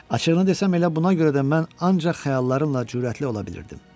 Açıqlığını desəm elə buna görə də mən ancaq xəyallarımla cürətli ola bilirdim.